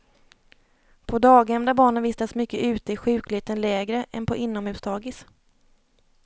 På daghem där barnen vistas mycket ute är sjukligheten lägre än på inomhusdagis.